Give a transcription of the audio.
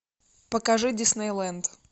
покажи дисней ленд